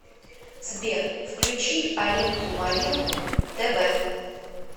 сбер включи алинку малинку тэ вэ